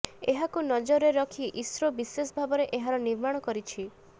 ଏହାକୁ ନଜରରେ ରଖି ଇସ୍ରୋ ବିଶେଷ ଭାବରେ ଏହାର ନିର୍ମାଣ କରିଛି